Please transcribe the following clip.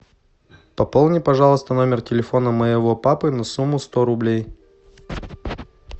пополни пожалуйста номер телефона моего папы на сумму сто рублей